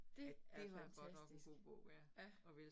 Det er fantastisk, ja